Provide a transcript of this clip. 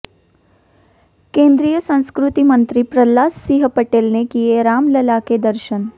केंद्रीय संस्कृति मंत्री प्रह्लाद सिंह पटेल ने किए रामलला के दर्शन